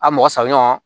A mɔgɔ saba ɲɔgɔn